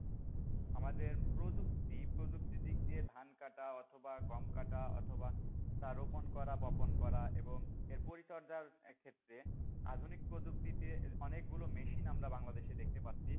আমাদের প্রযুক্তি, প্রযুক্তি দিক দিয়ে ধান কাটা অথবা গম কাটা অথবা তা রোপণ করা বপণ করা এবং এর পরিচর্যার ক্ষেত্রে আধুনিক প্রযুক্তিতে অনেক গুলো মেশিন আমরা বাংলাদেশে দেখতে পাচ্ছি,